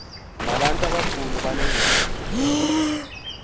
nabantu abakhulu abaneengxaki